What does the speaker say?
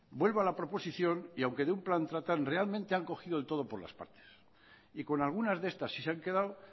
vuelvo a la proposición y aunque de un plan tratan realmente han cogido el todo por las partes y con algunas de estas sí se han quedado